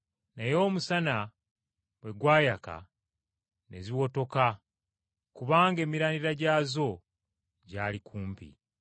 Naye omusana bwe gwayaka ne ziwotoka kubanga emirandira gyazo gyali kumpi.